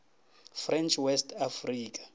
french west africa